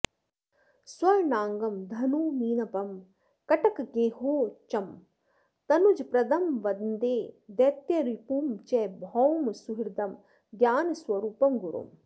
स्वर्णाङ्गं धनुमीनपं कटकगेहोच्चं तनूजप्रदं वन्दे दैत्यरिपुं च भौमसुहृदं ज्ञानस्वरूपं गुरुम्